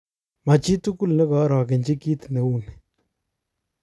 Machitugul nekoorogechi kit neu ni.